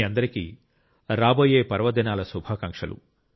మీ అందరికీ రాబోయే పర్వదినాల శుభాకాంక్షలు